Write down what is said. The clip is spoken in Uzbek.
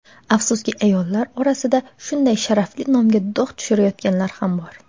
Afsuski ayollar orasida shunday sharafli nomga dog‘ tushirayotganlar ham bor.